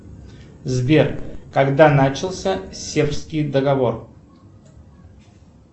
сбер когда начался сербский договор